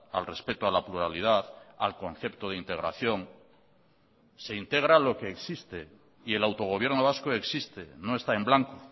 al respeto a la pluralidad al concepto de integración se integra lo que existe y el autogobierno vasco existe no está en blanco